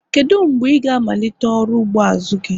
Kedu mgbe ị ga-amalite ọrụ ugbo azu gi?